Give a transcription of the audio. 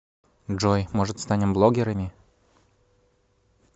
джой может станем блогерами